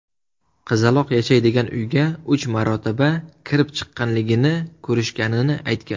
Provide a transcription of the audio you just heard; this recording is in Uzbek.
qizaloq yashaydigan uyga uch marotaba kirib-chiqqanligini ko‘rishganini aytgan.